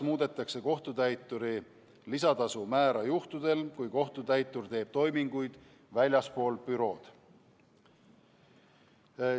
Muudetakse ka kohtutäituri lisatasu määra juhtudel, kui kohtutäitur teeb toiminguid väljaspool bürood.